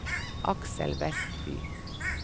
Aksel Westby